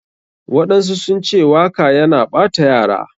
Waɗansu sunce waka yana ɓata yara.